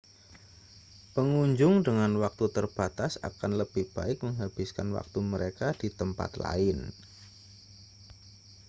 pengunjung dengan waktu terbatas akan lebih baik menghabiskan waktu mereka di tempat lain